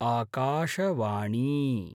आकाशवाणी